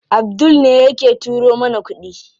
Abdul ne yake turo mana kuɗi.